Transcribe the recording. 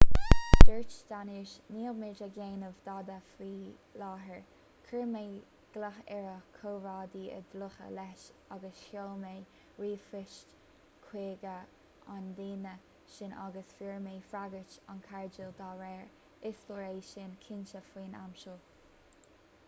dúirt danius níl muid ag déanamh dada faoi láthair chuir mé glao ar a chomrádaí is dlúithe leis agus sheol mé ríomhphoist chuig an duine sin agus fuair mé freagairt an-chairdiúl dá réir is leor é sin cinnte faoin am seo